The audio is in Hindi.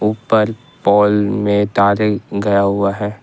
ऊपर पोल में तारे गया हुआ है ।